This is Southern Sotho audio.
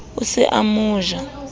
o se o mo ja